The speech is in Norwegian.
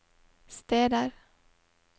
steder